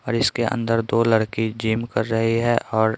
और इसके अंदर दो लड़की जिम कर रही है और--